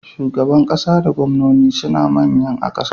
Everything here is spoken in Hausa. Shugaban ƙasa da gwamnono sune manyan a ƙasa.